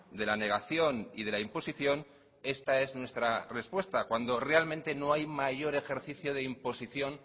de la negación y de la imposición esta es nuestra respuesta cuando realmente no hay mayor ejercicio de imposición